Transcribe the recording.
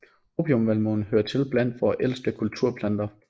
Opiumvalmue hører til blandt vore ældste kulturplanter